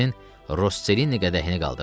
Rosselini qədəhini qaldırdı.